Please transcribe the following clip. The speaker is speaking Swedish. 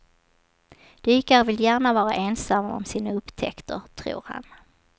Dykare vill gärna vara ensamma om sina upptäckter, tror han.